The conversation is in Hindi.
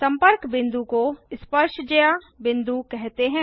संपर्क बिंदु को स्पर्शज्या बिंदु कहते हैं